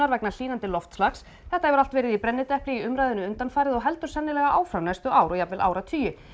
vegna hlýnandi loftslags þetta hefur allt verið í brennidepli í umræðunni undanfarið og heldur sennilega áfram næstu ár og jafnvel áratugi